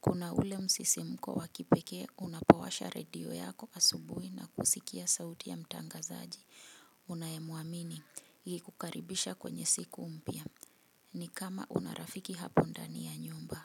Kuna ule msisimko wa kipekee unapowasha radio yako asubuhi na kusikia sauti ya mtangazaji unayemuamini ikikukaribisha kwenye siku mpya ni kama una rafiki hapo ndani ya nyumba.